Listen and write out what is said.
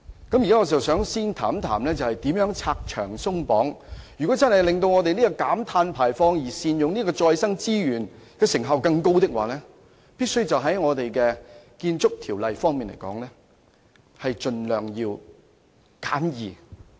我現在想先談談如何拆牆鬆綁，如果要令減低碳排放及善用再生能源取得更高成效，我們在建築方面的條例必須盡量簡易。